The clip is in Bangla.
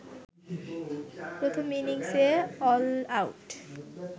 প্রথম ইনিংসে অলআউট